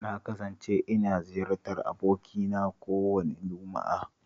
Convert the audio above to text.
Na kasance ina ziyartar abokina kowace Juma'a